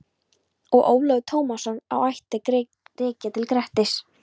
Og Ólafur Tómasson á ættir að rekja til Grettis.